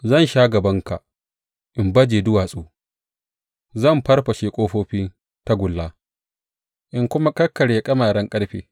Zan sha gabanka in baje duwatsu; zan farfashe ƙofofin tagulla in kuma kakkarye ƙyamaren ƙarfe.